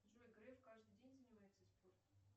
джой греф каждый день занимается спортом